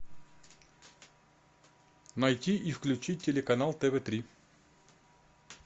найти и включить телеканал тв три